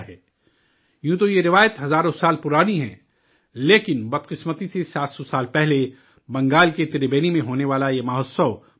یوں تو یہ روایت ہزاروں سال پرانی ہے لیکن بدقسمتی سے 700 سال پہلے بنگال کے تربینی میں ہونے والا یہ مہوتسو بند ہو گیا تھا